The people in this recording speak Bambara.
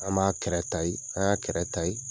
An b'a kɛrɛ n'an y'a kɛrɛ